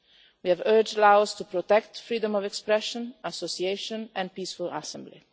We have urged Laos to protect freedom of expression and association, and peaceful assembly.